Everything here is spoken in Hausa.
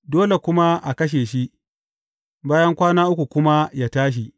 Dole kuma a kashe shi, bayan kwana uku kuma, yă tashi.